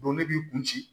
ne b'i kun ci